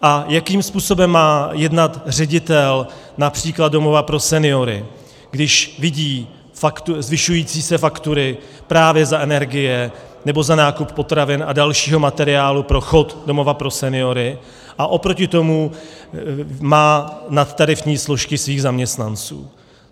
A jakým způsobem má jednat ředitel například domova pro seniory, když vidí zvyšující se faktury právě za energie nebo za nákup potravin a dalšího materiálu pro chod domova pro seniory, a oproti tomu má nadtarifní složky svých zaměstnanců?